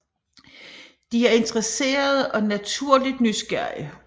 De er interesserede og naturligt nysgerrige